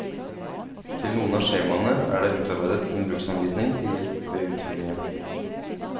Til noen av skjemaene er det utarbeidet en bruksanvisning til hjelp ved utfyllingen.